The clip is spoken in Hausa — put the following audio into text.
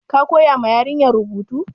Ka koya ma yarinyar rubutu?